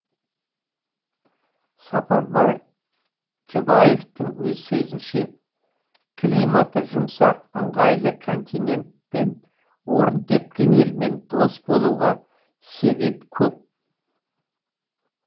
сапарбай жұбаевтың сөзінше климаты жұмсақ ыңғайлы континенттен орын тепкен елмен дос болуға себеп көп